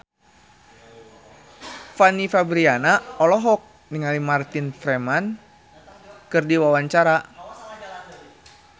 Fanny Fabriana olohok ningali Martin Freeman keur diwawancara